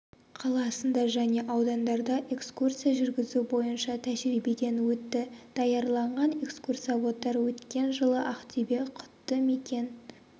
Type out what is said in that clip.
қаласында және аудандарда экскурсия жүргізу бойынша тәжірибеден өтті даярланған экскурсоводтар өткен жылы ақтөбе құтты мекен